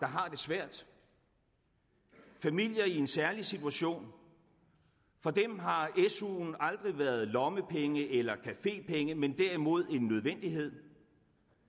har det svært familier i en særlig situation for dem har su’en aldrig været lommepenge eller cafépenge men derimod en nødvendighed dem